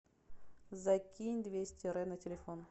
закинь двести рэ на телефон